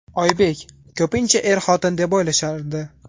Oybek: Ko‘pincha er-xotin deb o‘ylashardi.